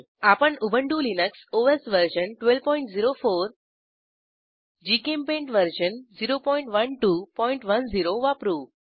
आपण Ubuntu Linux OS version 1204 GChemPaint version 01210 वापरू